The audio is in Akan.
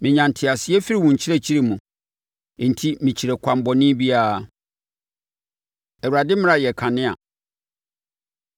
Menya nteaseɛ firi wo nkyerɛkyerɛ mu; enti mekyiri ɛkwan bɔne biara. Awurade Mmara Yɛ Kanea